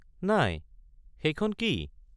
নাই, সেইখন কি?